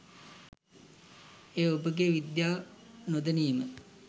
එය ඔබගේ විද්‍යාව නොදැනීම